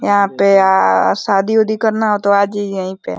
यहां पे आ आ शादी उदी करना हो तो आजाईऐ यहीं पे ।